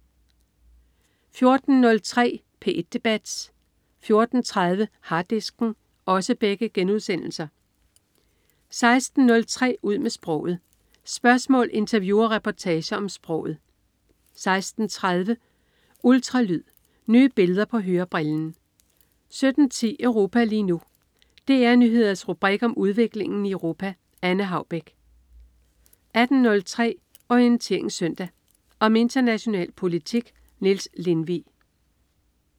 14.03 P1 debat* 14.30 Harddisken* 16.03 Ud med sproget. Spørgsmål, interview og reportager om sproget 16.30 Ultralyd. Nye billeder på hørebrillen 17.10 Europa lige nu. DR Nyheders rubrik om udviklingen i Europa. Anne Haubek 18.03 Orientering Søndag. Om international politik. Niels Lindvig